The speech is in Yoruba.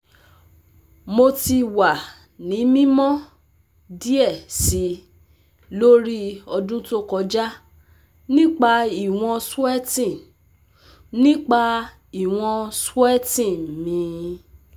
Mo ti wa ni mimọ diẹ sii lori ọdun to kọja nipa iwọn sweating nipa iwọn sweating mi